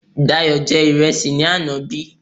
Dayò jẹ ìrẹsì ní àná bí?